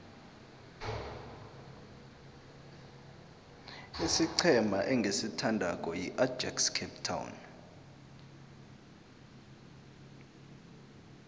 isiqhema engisithandako yiajax cape town